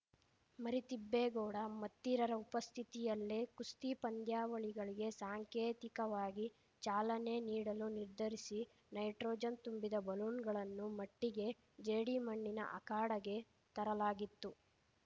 ಮರಿತಿಬ್ಬೇಗೌಡ ಮತ್ತಿರರ ಉಪಸ್ಥಿತಿಯಲ್ಲೇ ಕುಸ್ತಿ ಪಂದ್ಯಾವಳಿಗಳಿಗೆ ಸಾಂಕೇತಿಕವಾಗಿ ಚಾಲನೆ ನೀಡಲು ನಿರ್ಧರಿಸಿ ನೈಟ್ರೋಜನ್‌ ತುಂಬಿದ ಬಲೂನ್‌ಗಳನ್ನು ಮಟ್ಟಿಗೆಜೇಡಿ ಮಣ್ಣಿನ ಅಖಾಡಗೆ ತರಲಾಗಿತ್ತು